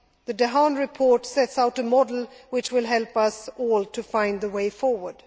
The Dehaene report sets out a model which will help us all to find the way forward.